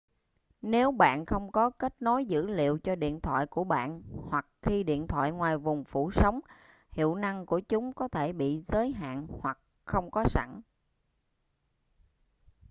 nếu bạn không có kết nối dữ liệu cho điện thoại của bạn hoặc khi điện thoại ngoài vùng phủ sóng hiệu năng của chúng có thể bị giới hạn hoặc không có sẵn